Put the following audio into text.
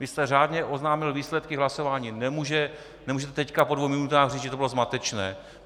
Vy jste řádně oznámil výsledky hlasování, nemůžete teď po dvou minutách říct, že to bylo zmatečné.